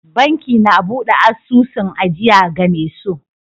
Banki na buɗe asusun ajiya game so